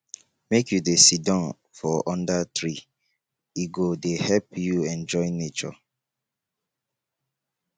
make you dey siddon for under tree e go dey help you enjoy nature